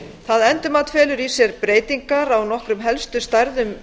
það endurmat felur í sér breytingar á nokkrum helstu stærðum